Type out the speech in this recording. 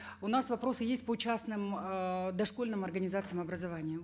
у нас вопросы есть по частным эээ дошкольным организациям образования